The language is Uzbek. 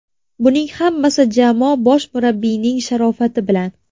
Buning hammasi jamoa bosh murabbiyining sharofati bilan”.